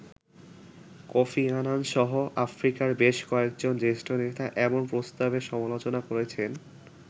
Kofi Annan সহ আফ্রিকার বেশ কয়েকজন জ্যেষ্ঠ নেতা এমন প্রস্তাবের সমালোচনা করেছেন।